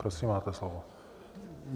Prosím, máte slovo.